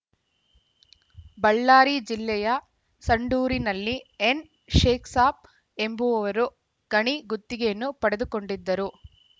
ಬಳ್ಳಾರಿ ಜಿಲ್ಲೆಯ ಸಂಡೂರಿನಲ್ಲಿ ಎನ್‌ಶೇಖ್‌ಸಾಬ್‌ ಎಂಬುವವರು ಗಣಿ ಗುತ್ತಿಗೆಯನ್ನು ಪಡೆದುಕೊಂಡಿದ್ದರು